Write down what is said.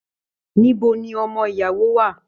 Níbo ní ọmọ ìyàwó wà?